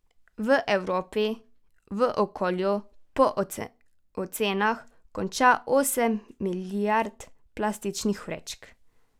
V Evropi v okolju po ocenah konča osem milijard plastičnih vrečk.